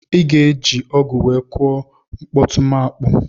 Iga eji ọgụ wee kụọ mkputamkpu.